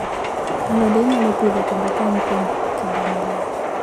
Alode inyalo Pidhoo kendo kano kuom kinde malach